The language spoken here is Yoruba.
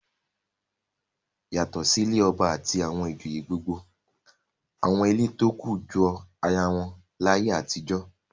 Yàtọ̀ sí ilé ọba àti àwọn ìjòyè gbogbo àwọn ilé tó kù jọ ara wọn láyé àtijọ́.